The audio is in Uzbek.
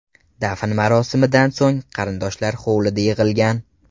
Dafn marosimidan so‘ng, qarindoshlar hovlida yig‘ilgan.